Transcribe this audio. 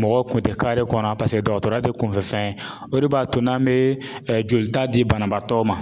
mɔgɔw kun tɛ ka ye o kɔnɔ a dɔgɔtɔrɔya tɛ kunfɛ fɛn ye o de b'a to n'an bɛ jolita di banabaatɔ ma